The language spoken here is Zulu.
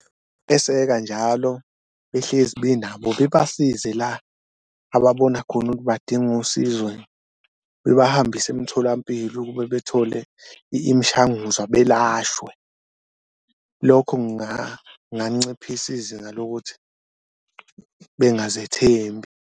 Eseka njalo behlezi benabo bebasize la ababona khona ukuthi badinga usizo bebahambise emtholampilo ukube bethole imishanguzwa belashwe. Lokho kunganciphisa izinga lokuthi bengazethembi.